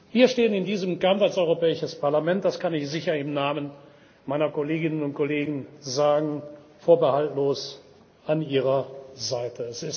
Wir stehen in diesem Kampf als Europäisches Parlament das kann ich sicher im Namen meiner Kolleginnen und Kollegen sagen vorbehaltlos an Ihrer Seite.